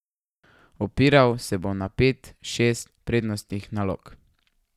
Opiral se bom na pet, šest prednostnih nalog.